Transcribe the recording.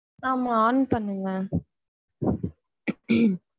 ஆமா on பண்ணுங்க.